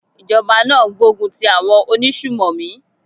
Ìjọba náà ń gbógun ti àwọn onísùnmọ̀mí.